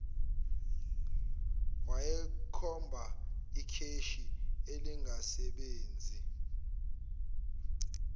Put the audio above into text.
wayekhomba ikheshi elingasebenzi